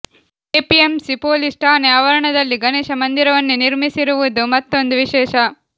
APMC police ಠಾಣೆ ಆವರಣದಲ್ಲಿ ಗಣೇಶ ಮಂದಿರವನ್ನೇ ನಿರ್ಮಿಸಿರುವುದು ಮತ್ತೊಂದು ವಿಶೇಷ